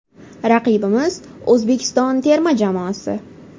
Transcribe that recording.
Raqibimiz O‘zbekiston termasi.